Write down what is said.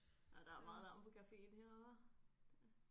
Nej der er meget larm på caféen her hva